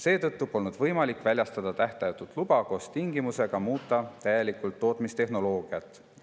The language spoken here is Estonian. Seetõttu polnud võimalik väljastada tähtajatut luba koos tingimusega muuta täielikult tootmistehnoloogiat.